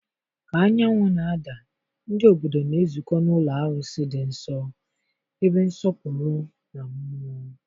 ka anyanwụ na-ada, ndị obodo na-ezukọ n'ụlọ arụsị dị nsọ, ebe nsọpụrụ na mmụọ.